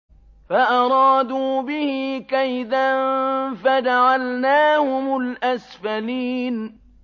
فَأَرَادُوا بِهِ كَيْدًا فَجَعَلْنَاهُمُ الْأَسْفَلِينَ